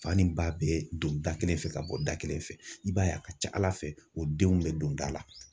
Fani ba bɛɛ don da kelen fɛ ka bɔ da kelen fɛ, i b'a ye a ka ca ala fɛ , o denw be don da la.